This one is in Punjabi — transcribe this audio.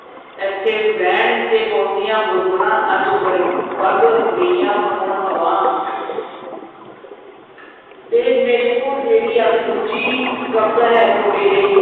ਏਥੇ ਵੈਣ ਤੇ ਪੌਂਦੀਆਂ ਬੁਲਬੁਲਾਂ ਅੱਜ ਵਰ ਵਗ ਗਈਆਂ ਹੋਣ ਹਵਾ ਤੇ ਮੇਰੇ ਕੋਲ ਜਿਹੜੀ ਅੱਜ ਦੂਜੀ ਕਵਿਤਾ ਹੈ ਤੁਹਾਡੇ ਲਈ